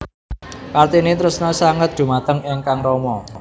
Kartini tresna sanget dhumateng ingkang rama